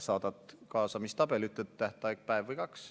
Saadad kaasamistabeli, ütled, et tähtaeg on päev või kaks.